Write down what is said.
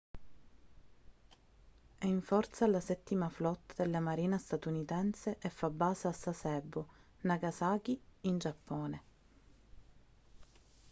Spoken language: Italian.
è in forza alla settima flotta della marina statunitense e fa base a sasebo nagasaki in giappone